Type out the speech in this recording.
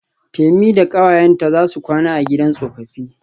Temi da kawayenta zasu kwana a gidan tsofaffi.